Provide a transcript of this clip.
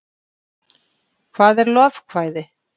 hvað er lovekvæði